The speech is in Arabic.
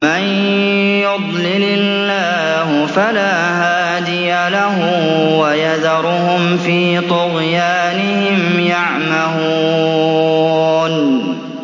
مَن يُضْلِلِ اللَّهُ فَلَا هَادِيَ لَهُ ۚ وَيَذَرُهُمْ فِي طُغْيَانِهِمْ يَعْمَهُونَ